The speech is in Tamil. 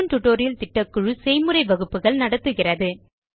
ஸ்போக்கன் டியூட்டோரியல் திட்டக்குழு செய்முறை வகுப்புகள் நடத்துகிறது